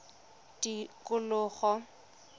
tikologo